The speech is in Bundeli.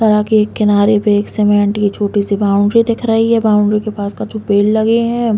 सड़क के किनारे पे एक सीमेंट की छोटी-सी बॉउंड्री दिख रही है। बॉउंड्री के पास कछु पेड़ लगे हैं।